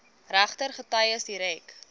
regter getuies direk